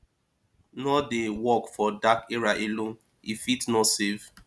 no dey walk for dark area alone e fit no safe